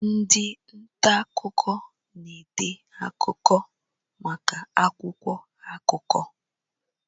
Ndị nta akụkọ na-ede akụkọ maka akwụkwọ akụkọ.